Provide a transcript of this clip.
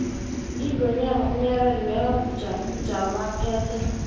ingwenyama unyabela bekangumjaphethe